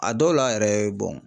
A dɔw la yɛrɛ